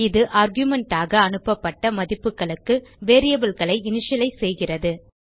இது argumentஆக அனுப்பப்பட்ட மதிப்புகளுக்கு variableகளை இனிஷியலைஸ் செய்கிறது